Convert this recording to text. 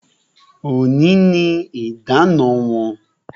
Òní ni idana wọn